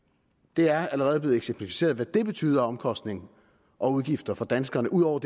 det er allerede blevet eksemplificeret hvad det betyder af omkostninger og udgifter for danskerne ud over